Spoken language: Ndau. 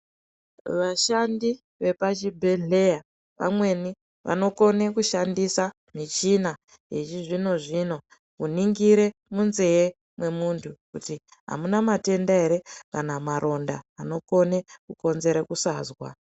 Vashandi vepachibhendleya vamweni vanokona kushandisa michina yechizvino zvino kuningira munzee mwemuntu. Kuti amuna matenda ere kana maronda anokone kukonzera kusazwa.